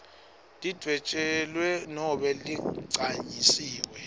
lidvwetjelwe nobe ligcanyisiwe